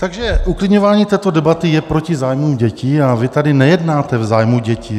Takže uklidňování této debaty je proti zájmům dětí a vy tady nejednáte v zájmu dětí.